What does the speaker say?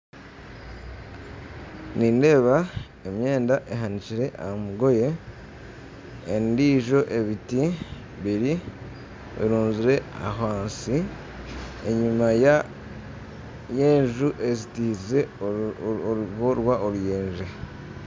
Nindeeba emyenda ehanikire aha mugoye, endiijo ebiti birunzire ahansi enyima y'enju ezitiize orugo rw'oruyenje